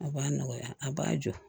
A b'a nɔgɔya a b'a jɔ